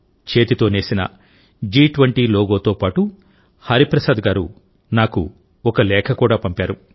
చేతితో నేసిన G20 లోగోతో పాటు హరిప్రసాద్ గారు నాకు ఒక లేఖ కూడా పంపారు